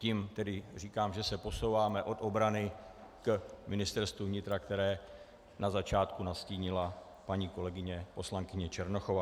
Tím tedy říkám, že se posouváme od obrany k Ministerstvu vnitra, které na začátku nastínila paní kolegyně poslankyně Černochová.